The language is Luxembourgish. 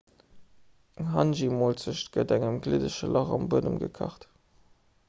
eng hangi-molzecht gëtt an engem gliddege lach am buedem gekacht